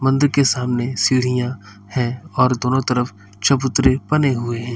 मंदिर के सामने सीढ़ियां हैं और दोनों तरफ चबूतरे बने हुए हैं।